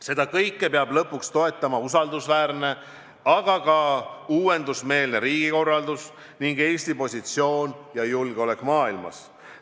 Seda kõike peab lõpuks toetama usaldusväärne, aga ka uuendusmeelne riigikorraldus ning Eesti positsioon ja julgeolek maailmas.